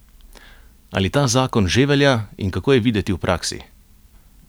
Ali ta zakon že velja in kako je videti v praksi?